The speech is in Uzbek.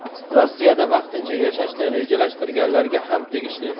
Rossiyada vaqtincha yashashni rejalashtirganlarga ham tegishli.